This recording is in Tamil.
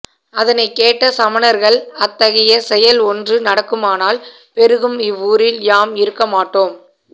அதனைக் கேட்ட சமணர்கள் அத்தகைய செயல் ஒன்று நடக்குமானால் பெருகும் இவ்வூரில் யாம் இருக்கமாட்டோம்